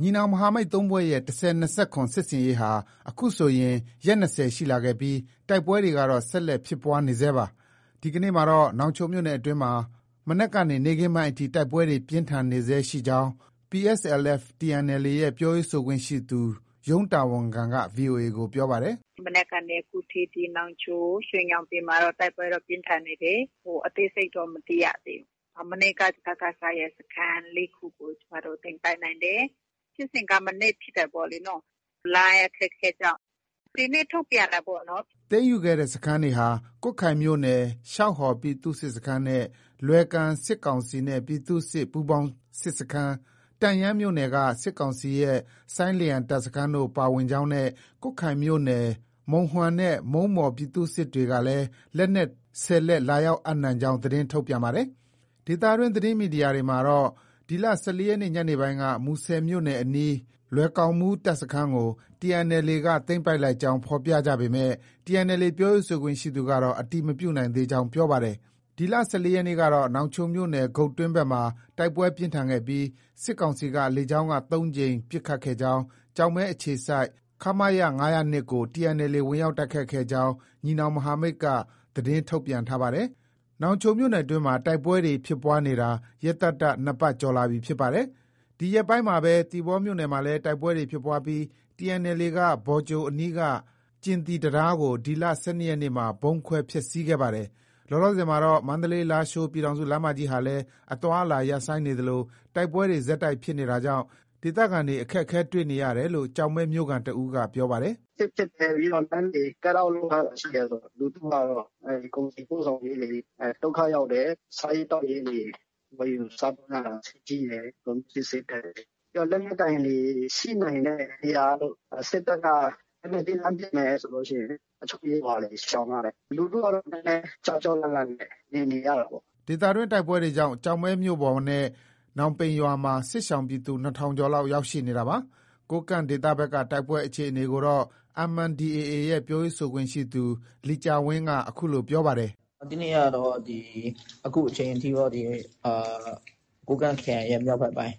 ညီနောင်မဟာမိတ် ၃ဖွဲ့ရဲ့ ၁၀၂၇ စစ်ဆင်ရေးဟာ အခုဆိုရင် ရက် ၂၀ ရှိလာခဲ့ပြီး တိုက်ပွဲတွေကတော့ ဆက်လက် ဖြစ်ပွားနေဆဲရှိနေပါတယ်။ ဒီကနေ့ မှာတော့ နောင်ချိုမြို့နယ်အတွင်းမှာ မနက်ကနေ နေ့ခင်းပိုင်းအထိ တိုက်ပွဲတွေ ပြင်းထန်နေဆဲရှိနေကြောင်း PSLF/ TNLA ရဲ့ ပြောရေးဆိုခွင့်ရှိသူ ရုံးတာဝန်ခံက VOA ကို ပြောပါတယ်။ “ မနက်ကနေ အခုထိတော့ နောင်ချို၊ ရွှေညောင်ပင်မှာတော့ တိုက်ပွဲက ပြင်းထန်နေတယ်။ အသေးစိတ်တော့ မသိရသေးဘူး။ မနေ့က စကစရဲ့ စခန်း ၄ခုကို ကျမတို့ သိမ်းပိုက်နိုင်တယ်။ ဖြစ်စဉ်က မနေ့က ဖြစ်တယ်ပေါ့လေ။ လိုင်းအခက်အခဲကြောင့် ဒီနေ့ ထုတ်ပြန်တာပေါ့။ ” သိမ်းယူခဲ့တဲ့ စခန်းတွေဟာ ကွတ်ခိုင်မြို့နယ် ရှောက်ဟော် ပြည်သူ့စစ်စခန်းနဲ့ လွယ်ကန် စစ်ကောင်စီနဲ့ ပြည်သူ့စစ် ပူးပေါင်းစစ်စခန်း၊ တန့်ယန်းမြို့နယ်က စစ်ကောင်စီရဲ့ ဆိုင်းလျံတပ်စခန်းတို့ ပါဝင်ကြောင်းနဲ့ ကွတ်ခိုင်မြို့နယ် မုံဟွမ်နဲ့ မုံးပေါ် ပြည်သူ့စစ်အဖွဲ့တွေကလည်း လက်နက် ၁၀လက် လာရောက်အပ်နှံ ကြောင်း သတင်းထုတ်ပြန်ပါတယ်။ ဒေသတွင်း သတင်းမီဒီယာတွေမှာကတော့ ဒီလ ၁၄ရက်နေ့ညနေပိုင်းက မူဆယ်မြို့နယ်အနီး လွယ်ကောင်မူး တပ်စခန်းကို TNLAက သိမ်းပိုက်လိုက်ကြောင်း ဖော်ပြကြပေမဲ့ TNLA ပြောရေးဆိုခွင့်ရှိသူကတော့ အတည်မပြုနိုင်သေးကြောင်း ပြောပါတယ်။ ဒီလ ၁၄ရက်နေ့ကတော့ နောင်ချိုမြို့နယ် ဂုတ်တွင်းဘက်မှာ တိုက်ပွဲပြင်းထန်ခဲ့ပြီး စစ်ကောင်စီက လေကြောင်းက ၃ကြိမ်ပစ်ခတ်ခဲ့ကြောင်း ကျောက်မဲအခြေစိုက် ခမရ ၅၀၂ကို TNLA ဝင်ရောက် တိုက်ခိုက်ခဲ့ကြောင်း ညီနောင်မဟာမိတ်က သတင်းထုတ်ပြန်ထားပါတယ်။ နောင်ချိုမြို့နယ်အတွင်းမှာ တိုက်ပွဲတွေ ဆက်တိုက်ဖြစ်ပွားနေတာ ရက်သတ္တ ၂ပတ်ကျော်လာပြီဖြစ်ပါတယ်။ ဒီရက်ပိုင်းမှာပဲ သီပေါမြို့နယ်မှာလည်း တိုက်ပွဲတွေ ဖြစ်ပွားပြီး TNLA က ဘော်ကြိုအနီးက ကျင်သီ တံတား ကို ဒီလ ၁၂ရက်နေ့မှာ ဗုံးခွဲ ဖျက်ဆီးခဲ့ပါတယ်။ လောလောဆည်မှာတော့ မန္တလေး- လားရှိုး ပြည်ထောင်စုလမ်းမကြီးဟာလည်း အသွားအလာ ရပ်ဆိုင်းနေသလို တိုက်ပွဲတွေ ဆက်တိုက်ဖြစ် နေတာကြောင့် ဒေသခံတွေ အခက်အခဲ တွေ့နေရ တယ်လို့ ကျောက်မဲမြို့ခံ တဦးက ပြောပါတယ်။ “စစ်ဖြစ်တယ်။ ပြီးတော့ လမ်းတွေ Cut off လုပ်ထားတယ်ဆိုတော့ လူထုကတော့ ကုန်စည်ပို့ဆောင် ရေးတွေ ဒုက္ခရောက်တယ်။ စားရေးသောက်ရေးတွေ ဝယ်ယူစားသုံးရတာ ဈေးကြီးတယ်။ ကုန်ပစ္စည်း ဈေးတက် တယ်လေ။ ပြီးရင် လက်နက်ကိုင်တွေ ရှိနိုင်တဲ့ နေရာတို့ စစ်တပ်က လက်နက်ကြီး လှမ်း ပစ်တယ်ဆိုရင် အချို့ရွာတွေ ရှောင်ရတယ်။ လူထုကတော့ နည်းနည်း ကြောက်ကြောက် လန့်လန့်နဲ့ နေနေရတာပေါ့။ ” ဒေသတွင်း တိုက်ပွဲတွေကြောင့် ကျောက်မဲမြို့ပေါ်နဲ့ နောင်ပိန်ရွာမှာ စစ်ရှောင်ပြည်သူ ၂၀၀၀ ကျော် လောက် ရောက်ရှိနေတာပါ။ ကိုးကန့်ဒေသဘက်က တိုက်ပွဲအခြေအနေကိုတော့ MNDAA ရဲ့ ပြောရေးဆိုခွင့်ရှိသူ လီကျာဝင်းက အခုလို ပြောပါတယ်။ “ဒီနေ့ကတော့ အခုအချိန်ထိ ကိုးကန့်ခရိုင်ရဲ့ မြောက်ဘက်ပိုင်း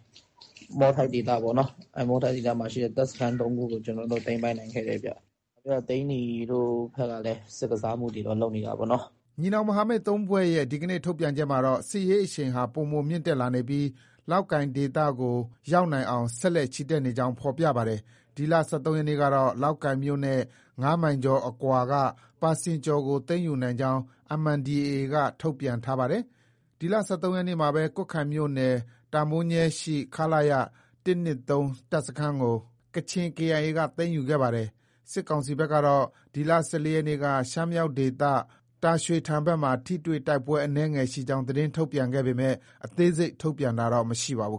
မော်ထိုက်ဒေသပေါ့နော။ အဲဒီ မော်ထိုက်ဒေသမှာရှိတဲ့ တပ်စခန်း ၃ခုကို ကျနော်တို့ သိမ်းပိုက်နိုင်ခဲ့တယ်ဗျ။ ပြီးတော့ သိန္နီတို့ ဘက်ကလည်း စစ်ကစားမှုတွေတော့ လုပ်နေတာပေါ့နော်။” ညီနောင်မဟာမိတ် ၃ဖွဲ့ရဲ့ ဒီနေ့ ထုတ်ပြန်ချက်မှာတော့ စစ်ရေးအရှိန်ဟာ ပိုမို မြင့်တက်လာနေပြီး လောက်ကိုင်ဒေသ ကိုရောက်နိုင်အောင် ဆက်လက် ချီတက်နေကြောင်း ဖော်ပြပါတယ်။ ဒီလ ၁၃ရက် နေ့ကတော့ လောက်ကိုင်မြို့နဲ့ ၅မိုင်ကျော်အကွာက ပါစင်ကျော်ကို သိမ်းယူနိုင်ကြောင်း MNDAA က ထုတ်ပြန်ထားပါတယ်။ ဒီလ ၁၃ရက်နေ့မှာပဲ ကွတ်ခိုင်မြို့နယ် တာမိုးညဲရှိ ခလရ ၁၂၃ တပ်စခန်းကို ကချင် KIA က သိမ်းယူခဲ့ ပါတယ်။ စစ်ကောင်စီဘက်ကတော့ ဒီလ ၁၄ရက်နေ့က ရှမ်းမြောက်ဒေသ တာရွှေထန်ဘက်မှာ ထိတွေ့တိုက်ပွဲ အနည်းငယ်ရှိကြောင်း သတင်းထုတ်ပြန်ခဲ့ပေမဲ့ အသေးစိတ် ထုတ်ပြန်တာတော့ မရှိပါဘူး